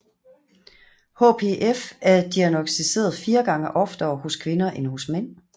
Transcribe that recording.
HPF er diagnosticeret fire gange oftere hos kvinder end hos mænd